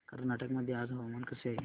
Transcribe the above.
कर्नाटक मध्ये आज हवामान कसे आहे